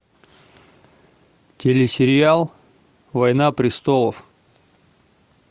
телесериал война престолов